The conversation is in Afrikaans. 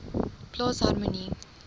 plaas harmonie